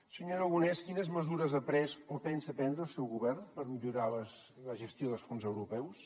senyor aragonès quines mesures ha pres o pensa prendre el seu govern per millorar la gestió dels fons europeus